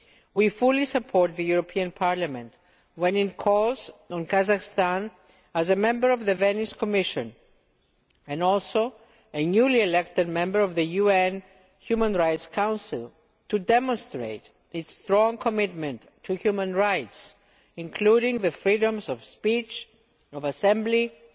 We fully support Parliament when it calls on Kazakhstan as a member of the Venice Commission, and also as a newly elected member of the UN Human Rights Council, to demonstrate its strong commitment to Human Rights, including the freedoms of speech, of assembly, of